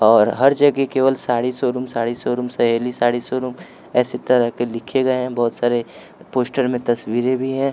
और हर जगह केवल sari showroom sari showroom Saheli sari showroom ऐसे तरह के लिखे गए हैं बहुत सारे पोस्टर में तस्वीरें भी हैं।